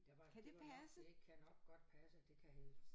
Der var det var nok det kan nok godt passe det kan hedde